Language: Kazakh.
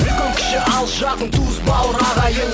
үлкен кіші алыс жақын туыс бауыр ағайын